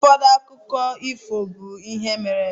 Ụfọdụ akụkọ ifo be ihe mere-eme.